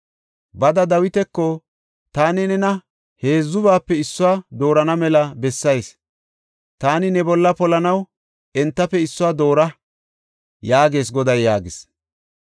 “Bada, Dawitako, ‘Taani nena heedzubaape issuwa doorana mela bessayis; taani ne bolla polanaw entafe issuwa doora’ yaagees Goday” yaagis.